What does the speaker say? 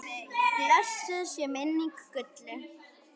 Blessuð sé minning Gullu.